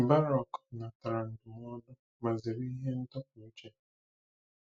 Baruch nabatara ndụmọdụ ma zere ihe ndọpụ uche.